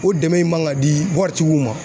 O dɛmɛn in man ka di wari tigiw ma.